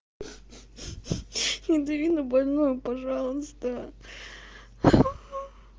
не дави на больное пожалуйста